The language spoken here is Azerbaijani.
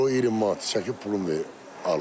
Kilo 20 manat çəkib pulunu verib alırlar.